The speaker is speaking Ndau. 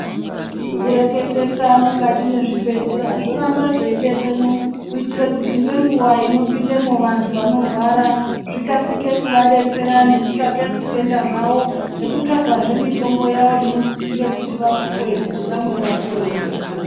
Zvokureketesa mukati mwezvibhedhlera zvoramba zveibekwemwo. Kuitira kuti ngenguva inopindemwo vantu vanorwara zvikasike kuvabetsera nekutsvake zvitenda zvavo. Nekutsvagazve mitombo yavo inosisire kuti vapuve kuti vamwe vapore ngekukasira.